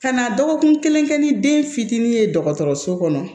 Ka na dɔgɔkun kelen kɛ ni den fitinin ye dɔgɔtɔrɔso kɔnɔ